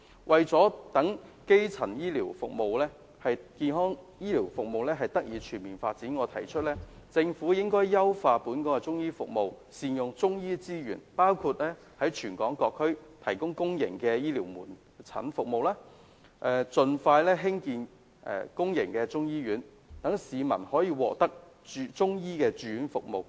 為了讓基層醫療服務得以全面發展，我提議政府應優化本港的中醫服務，善用中醫資源，包括在全港各區提供公營醫療中醫門診服務，盡快興建公營中醫醫院，讓市民可以獲得中醫住院服務。